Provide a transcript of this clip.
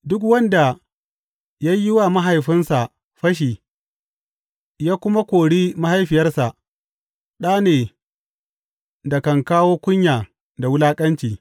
Duk wanda ya yi wa mahaifinsa fashi ya kuma kori mahaifiyarsa ɗa ne da kan kawo kunya da wulaƙanci.